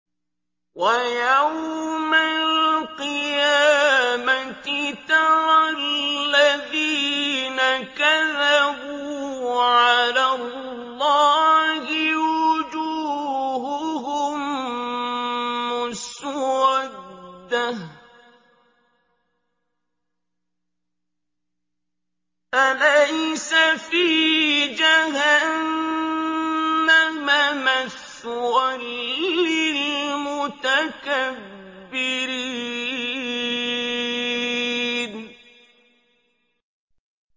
وَيَوْمَ الْقِيَامَةِ تَرَى الَّذِينَ كَذَبُوا عَلَى اللَّهِ وُجُوهُهُم مُّسْوَدَّةٌ ۚ أَلَيْسَ فِي جَهَنَّمَ مَثْوًى لِّلْمُتَكَبِّرِينَ